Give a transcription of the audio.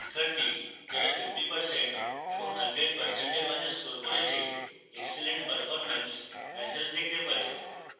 শিক্ষার্থী যারা 50% এবং 100% এর মাঝে score করেছে excellent performance ম্যাসেজ দেখতে পাবে